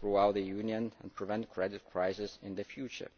throughout the Union and prevent credit crises in the future.